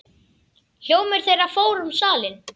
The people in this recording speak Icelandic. Hljómur þeirra fór um salinn.